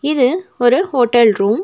இது ஒரு hotel room .